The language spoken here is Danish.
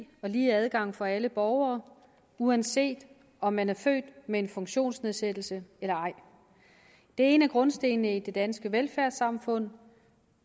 og lige adgang for alle borgere uanset om man er født med en funktionsnedsættelse eller ej det er en af grundstenene i det danske velfærdssamfund